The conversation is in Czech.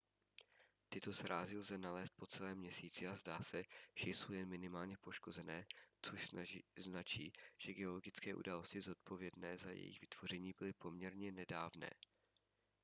tyto srázy lze nalézt po celém měsíci a zdá se že jsou jen minimálně poškozené což značí že geologické události zodpovědné za jejich vytvoření byly poměrně nedávné